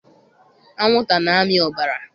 Anwụnta na-amị ọbara.